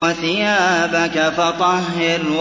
وَثِيَابَكَ فَطَهِّرْ